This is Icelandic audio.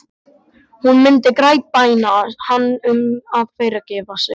Hún myndi grátbæna hann um að fyrirgefa sér.